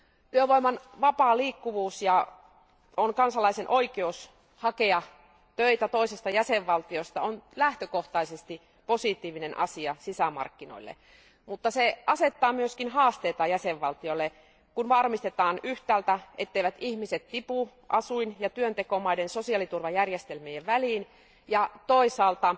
Työvoiman vapaa liikkuvuus ja kansalaisen oikeus hakea töitä toisesta jäsenvaltiosta on lähtökohtaisesti positiivinen asia sisämarkkinoille. Mutta se asettaa myös haasteita jäsenvaltioille, kun varmistetaan yhtäältä, etteivät ihmiset tipu asuin ja työntekomaiden sosiaaliturvajärjestelmien väliin, ja toisaalta